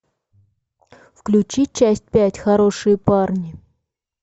включи часть пять хорошие парни